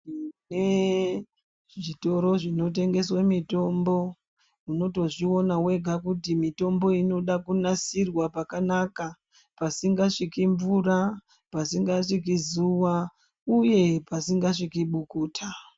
Tine zvitoro zvinotengeswe mitombo unotozviona wega kuti mitombo inoda kunasirwa pakanaka. Pasingasviki mvura, pasingasviki zuva uye pasingasviki bukuta.